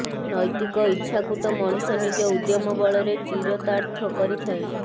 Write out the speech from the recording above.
ନୈତିକ ଇଚ୍ଛାକୁ ତ ମଣିଷ ନିଜ ଉଦ୍ୟମ ବଳରେ ଚିରତାର୍ଥ କରିଥାଏ